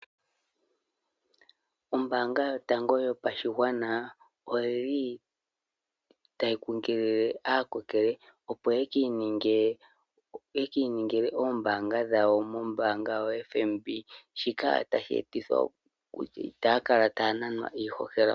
Ombaanga yotango yopashigwana oyili ta yi kunkilile aakokele opo ye kiiningile koombaanga dhawo mombaanga oyo tuu ndjika. Shika tashi e titha kutya itaya kala taya nanwa iihohela.